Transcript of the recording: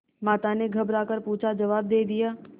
माता ने घबरा कर पूछाजवाब दे दिया